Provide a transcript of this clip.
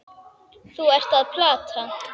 Þú ert að plata.